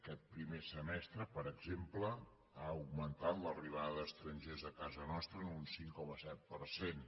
aquest primer semestre per exemple ha augmentat l’arribada d’estrangers a casa nostra en un cinc coma set per cent